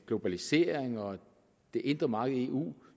globaliseringen og det indre marked i eu